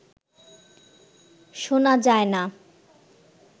শোনা যায় না